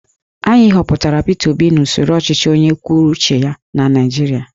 Anyị họpụtara Peter Obi n'usoro ọchịchị onye kwuru uche ya na Naijiria